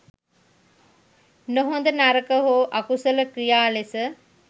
නොහොඳ, නරක හෝ අකුසල ක්‍රියා ලෙස